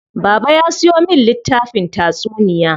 Baba ya siyo min littafin tatsuniya.